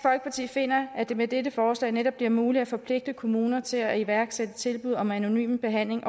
finder at det med dette forslag netop bliver muligt at forpligte kommuner til at iværksætte tilbud om anonym behandling